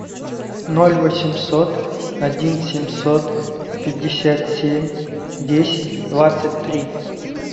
ноль восемьсот один семьсот пятьдесят семь десять двадцать три